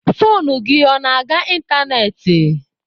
Foonu gị ọ na-aga ịntanetị?